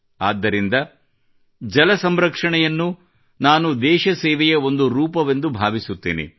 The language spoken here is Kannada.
ಆದ್ದರಿಂದ ಜಲ ಸಂರಕ್ಷಣೆಯನ್ನು ನಾನು ದೇಶ ಸೇವೆಯ ಒಂದು ರೂಪವೆಂದು ಭಾವಿಸುತ್ತೇನೆ